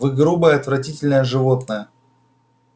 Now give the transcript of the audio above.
вы грубое отвратительное животное